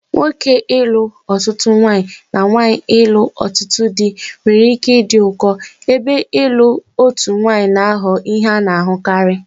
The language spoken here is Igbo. Nwoke ilu otutu nwanyi na nwanyi ilu otutu di nwere ike ịdị ụkọ, ebe ịlụ otu nwanyị na-aghọ ihe a na-ahụkarị.